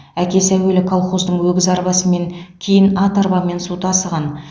әкесі әуелі колхоздың өгіз арбасымен кейін ат арбамен су тасыған